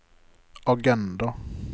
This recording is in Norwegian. agenda